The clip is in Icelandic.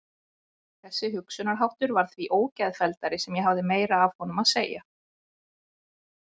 Þessi hugsunarháttur varð því ógeðfelldari sem ég hafði meira af honum að segja.